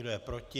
Kdo je proti?